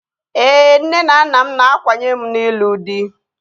Ee, nne na nna m na-akwanye m n'ịlụ dị